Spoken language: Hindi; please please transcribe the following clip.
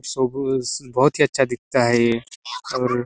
बहोत ही अच्छा दिखता है ये और--